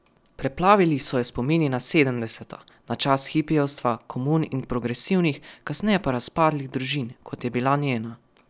Preplavili so jo spomini na sedemdeseta, na čas hipijevstva, komun in progresivnih, kasneje pa razpadlih družin, kot je bila njena.